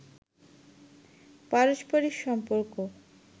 পারস্পরিক সম্পর্ক